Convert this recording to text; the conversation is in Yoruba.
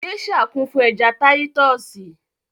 Gèésà kún fún ẹja táyítọ́sì